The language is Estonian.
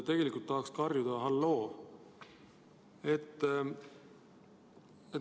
Tegelikult tahaks karjuda: "Halloo!